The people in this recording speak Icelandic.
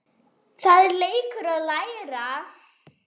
Það er leikur að læra